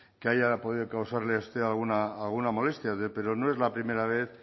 que haya podido causarle a usted alguna molestia pero no es la primera vez